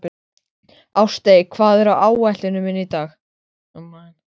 Ástey, hvað er á áætluninni minni í dag?